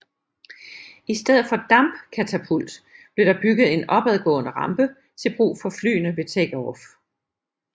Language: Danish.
I stedet for dampkatapult blev der bygget en opadgående rampe til brug for flyene ved takeoff